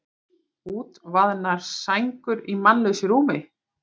Útvaðnar sængur í mannlausu rúmi.